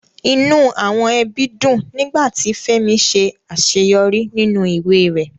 Inú àwọn ẹbí dùn nígbà tí Fẹ́mi ṣe àṣeyọrí nínú ìwé rẹ̀